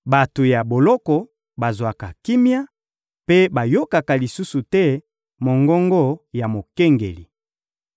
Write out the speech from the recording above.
bato ya boloko bazwaka kimia mpe bayokaka lisusu te mongongo ya mokengeli.